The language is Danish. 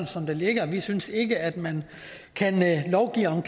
som det ligger vi synes ikke at man kan lovgive om